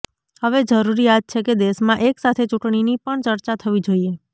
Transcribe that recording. હવે જરૂરિયાત છે કે દેશમાં એક સાથે ચૂંટણીની પણ ચર્ચા થવી જોઇએ